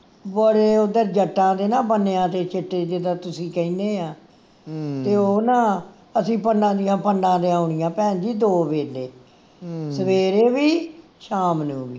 ਬੜੇ ਓਧਰ ਜੱਟਾਂ ਦੇ ਨਾ ਬੰਨਿਆ ਤੇ ਸਿੱਟੇ ਜਿੱਦਾਂ ਤੁਸੀਂ ਕਹਿਣੇ ਆ ਤੇ ਉਹ ਨਾ ਅਸੀਂ ਪੰਡਾਂ ਦੀਨਾ ਪੰਡਾਂ ਲਿਆਉਣੀਆਂ ਭੈਣਜੀ ਦੋ ਵੇਲੇ ਸਵੇਰੇ ਵੀ ਸ਼ਾਮ ਨੂੰ ਵੀ